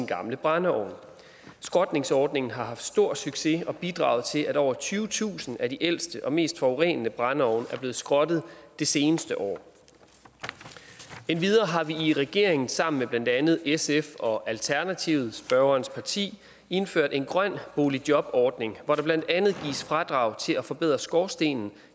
gamle brændeovn skrotningsordningen har stor succes og bidraget til at over tyvetusind af de ældste og mest forurenende brændeovne er blevet skrottet det seneste år endvidere har vi i regeringen sammen med blandt andet sf og alternativet spørgerens parti indført en grøn boligjobordning hvor der blandt andet gives fradrag til at forbedre skorstenen